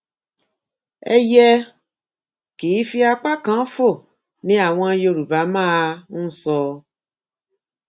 ẹyẹ um kì í fi apá kan fò ni àwọn yorùbá máa um ń sọ